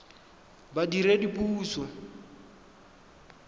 badiredipuso